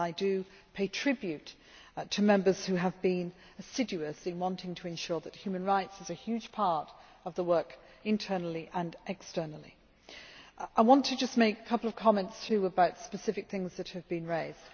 I pay tribute to Members who have been assiduous in wanting to ensure that human rights are a huge part of our work internally and externally. I want to make a couple of comments about specific things that have been raised.